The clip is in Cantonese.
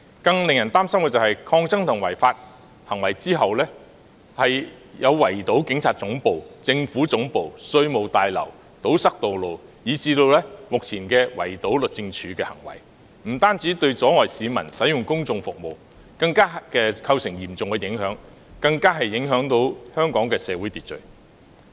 更令人擔心的是，繼抗爭及違法的行為後，有圍堵警察總部、政府總部和稅務大樓、堵塞道路，以致目前圍堵律政中心的行為，不單阻礙市民使用公眾服務，更嚴重影響香港的社會秩序。